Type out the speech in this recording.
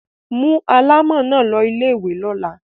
Mú alámọ̀ náà lọ ilé-ìwé lọ́la.